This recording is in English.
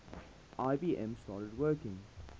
ibm started working